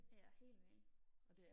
ja helt vildt